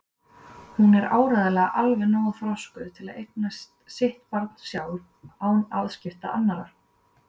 Hún er áreiðanlega alveg nógu þroskuð til að eiga sitt barn sjálf án afskipta annarra.